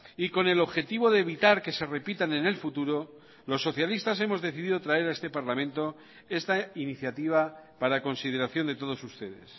y con el objetivo de evitar que se repitan en el futuro los socialistas hemos decidido traer a este parlamento esta iniciativa para consideración de todos ustedes